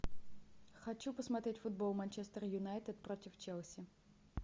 хочу посмотреть футбол манчестер юнайтед против челси